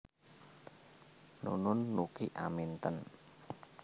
Nunun Nuki Aminten